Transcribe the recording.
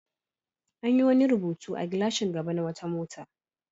An yi wani rubutu a gilashin gaba na wata mota.